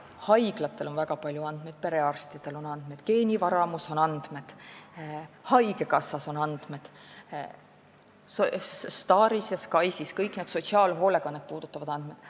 Haiglatel on väga palju andmeid, perearstidel on andmeid, geenivaramus on andmeid, haigekassas on andmeid, STAR-is ja SKAIS-is on sotsiaalhoolekannet puudutavad andmed.